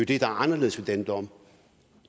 det der er anderledes ved den dom